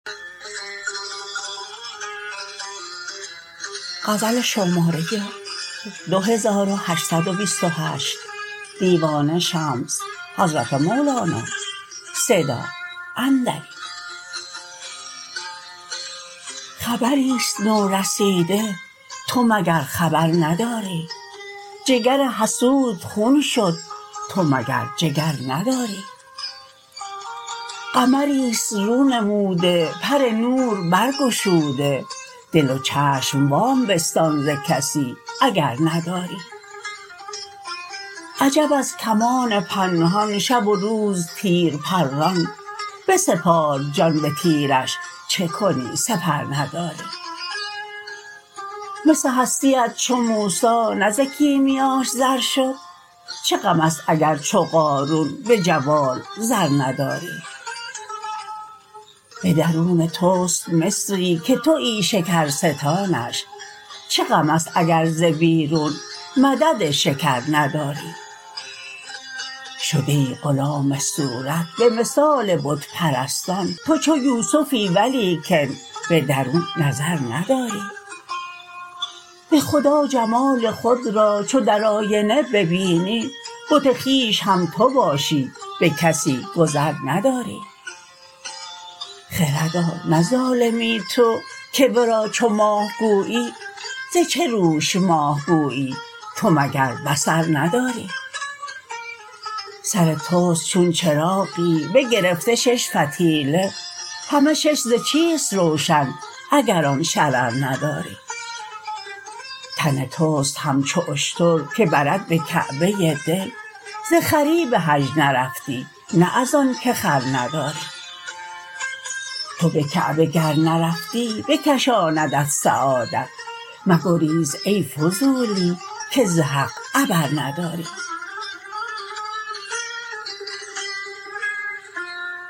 خبری است نورسیده تو مگر خبر نداری جگر حسود خون شد تو مگر جگر نداری قمری است رونموده پر نور برگشوده دل و چشم وام بستان ز کسی اگر نداری عجب از کمان پنهان شب و روز تیر پران بسپار جان به تیرش چه کنی سپر نداری مس هستیت چو موسی نه ز کیمیاش زر شد چه غم است اگر چو قارون به جوال زر نداری به درون توست مصری که توی شکرستانش چه غم است اگر ز بیرون مدد شکر نداری شده ای غلام صورت به مثال بت پرستان تو چو یوسفی ولیکن به درون نظر نداری به خدا جمال خود را چو در آینه ببینی بت خویش هم تو باشی به کسی گذر نداری خردا نه ظالمی تو که ورا چو ماه گویی ز چه روش ماه گویی تو مگر بصر نداری سر توست چون چراغی بگرفته شش فتیله همه شش ز چیست روشن اگر آن شرر نداری تن توست همچو اشتر که برد به کعبه دل ز خری به حج نرفتی نه از آنک خر نداری تو به کعبه گر نرفتی بکشاندت سعادت مگریز ای فضولی که ز حق عبر نداری